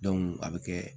a bɛ kɛ